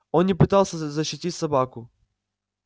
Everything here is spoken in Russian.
он не пытался защитить собаку